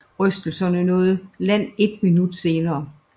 Rystelserne nåede land et minut senere